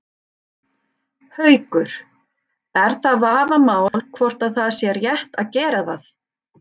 Haukur: Er það vafamál hvort að það sé rétt að gera það?